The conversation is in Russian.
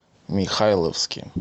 михайловске